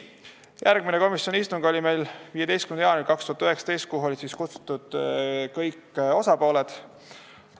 Järgmine komisjoni istung oli 15. jaanuaril 2019, kuhu olid kutsutud kõik osapooled.